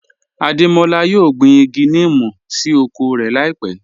Adémọlá yóò gbín igi nímú sí oko rẹ láípẹ̀